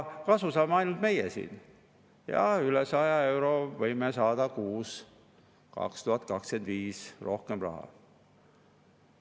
Kasu saame ainult meie siin ja 2025. aastast võime üle 100 euro kuus rohkem raha saada.